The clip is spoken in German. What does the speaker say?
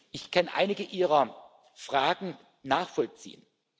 Ich kann einige Ihrer Fragen nachvollziehen.